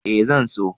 Eh zan so.